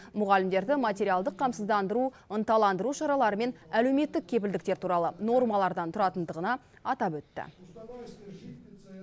мұғалімдерді материалдық қамсыздандыру ынталандыру шаралары мен әлеуметтік кепілдіктер туралы нормалардан тұратындығына атап өтті